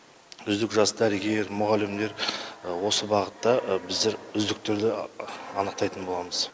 үздік жас дәрігер мұғалімдер осы бағытта біздер үздіктерді анықтайтын боламыз